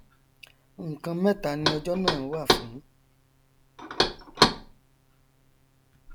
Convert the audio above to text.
nkan mẹta ni ọjọ náà wà fún